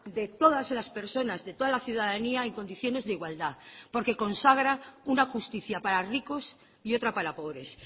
de todas las personas de toda la ciudadanía en condiciones de igualdad porque consagra una justicia para ricos y otra para pobres